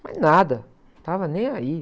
Mas nada, estava nem aí.